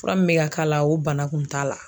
Fura min bɛ ka k'a la o bana kun t'a la.